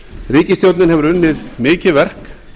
ríkisstjórnin hefur unnið mikið verk